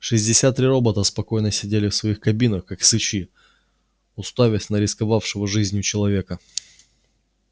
шестьдесят три робота спокойно сидели в своих кабинах как сычи уставясь на рисковавшего жизнью человека